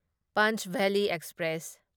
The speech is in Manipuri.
ꯄꯟꯆꯚꯦꯜꯂꯤ ꯑꯦꯛꯁꯄ꯭ꯔꯦꯁ